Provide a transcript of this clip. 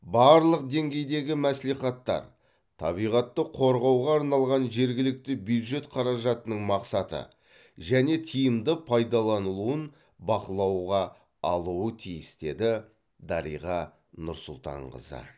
барлық деңгейдегі мәслихаттар табиғатты қорғауға арналған жергілікті бюджет қаражатының мақсатты және тиімді пайдаланылуын бақылауға алуы тиіс деді дариға нұрсұлтанқызы